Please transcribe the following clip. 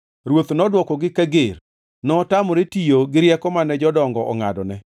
Ruoth nodwokogi kager. Notamore tiyo gi rieko mane jodongo ongʼadone,